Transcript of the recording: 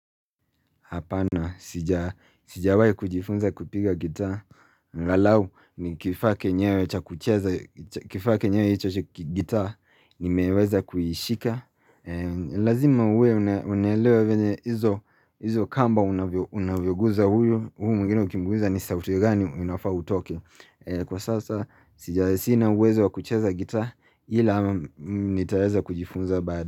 Apana, sijawai kujifunza kupiga gita, lalau ni kifake nyewe cha kutiaza, kifake nyewe cha kutiaza, ni meweza kuyishika. Lazima uwe unelewewe venye hizo kamba unavyoguza huyo, huu mwigine ukimguza ni sauti gani unafau utoke. Kwa sasa, sija asina uweza wa kutiaza gita, hila ama nitaweza kujifunza baada.